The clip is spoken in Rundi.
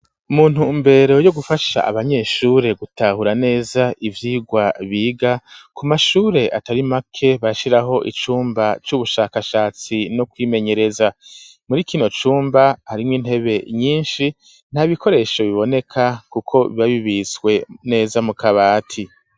Muntu mbere yo gufasha abanyeshure gutahura neza ibyigwa biga ku mashure atari make bashiraho icumba c'ubushakashatsi no kwimenyereza muri kino cumba harimwo intebe nyinshi nta bikoresho biboneka kuko bibabibiswe neza mu kabati.